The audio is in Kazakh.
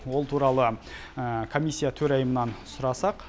ол туралы комиссия төрайымынан сұрасақ